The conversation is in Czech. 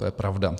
To je pravda.